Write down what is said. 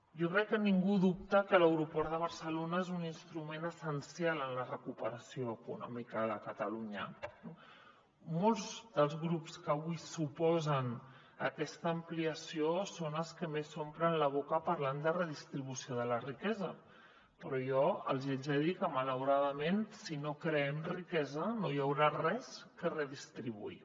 jo crec que ningú dubta que l’aeroport de barcelona és un instrument essencial en la recuperació econòmica de catalunya no molts dels grups que avui s’oposen a aquesta ampliació són els que més s’omplen la boca parlant de redistribució de la riquesa però jo els hi haig de dir que malauradament si no creem riquesa no hi haurà res a redistribuir